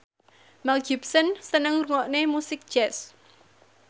Mel Gibson seneng ngrungokne musik jazz